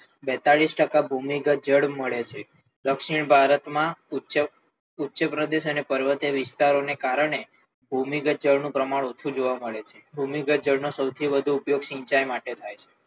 બેતાલીશ ટકા ભૂમિગત જળ મળે છે દક્ષિણ ભારતમાં ઉચ્ચ ઉચ્ચ પ્રદેશ અને પર્વતીય વિસ્તારોને કારણે ભૂમિગત જળનું પ્રમાણ ઓછું જોવા મળે છે ભૂમિગત જળનો સૌથી વધુ ઉપયોગ સિંચાઈ માટે થાય છે.